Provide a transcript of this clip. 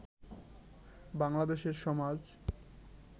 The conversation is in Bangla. বাংলাদেশের সমাজ